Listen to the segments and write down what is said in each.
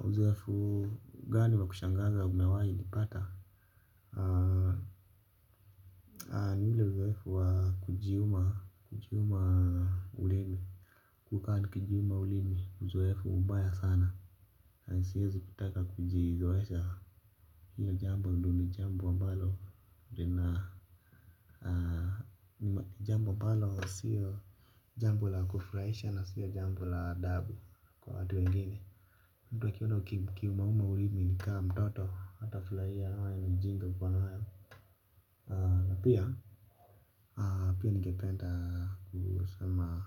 Uzoefu, gani wa kushangaza umewahi nipata? Haa, niwile uzoefu wa kujiuma ulimi. Kukaa nikijiuma ulimi, uzoefu ubaya sana. Na, siwezi kutaka kujizoesha. Hiyo jambo, ndi ni jambo ambalo. Lina, haa, jambo ambalo, sio jambo la kufurahisha na sio jambo la adabu kwa watu wengine. Mtu akiona ukiumauma ulimi ni ka mtoto hatafurahia anaona ni ujinga uko nayo. Na pia pia ningependa kusema.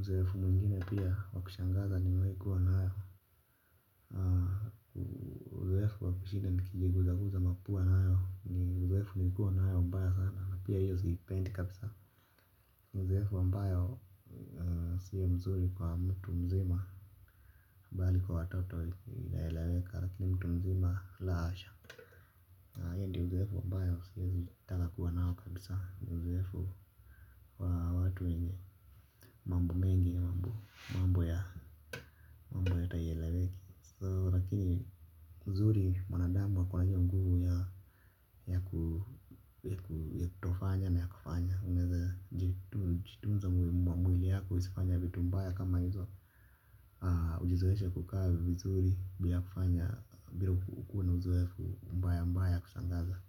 Uzoefu mwingine pia wa kushangaza nimewahi kuwa nayo. Uzoefu wa kushinda nikijiguza guza mapua nayo ni uzoefu nimekuwa nayo mbaya sana na pia hiyo siipendi kabisa. Uzoefu ambayo sio mzuri kwa mtu mzima bali kwa watoto inaeleweka lakini mtu mzima la hasha. Ndio uzoefu ambayo siwezi taka kuwa nao kabisa ndo uzoefu wa watu wenye mambo mengi na mambo ya hata haieleweki. Sasa lakini uzuri mwanadamu hakuangi na nguvu ya kutofanya na kufanya unaeza jitunza mwili yako isifanye vitu mbaya kama hizo aah ujizoeshe ku kaa vizuri bila ku fanya bila ku wa na uzoefu mbaya mbaya ya ku shangaza.